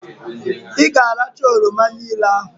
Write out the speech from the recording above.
Ị ga-arachaa oroma niile ahụ!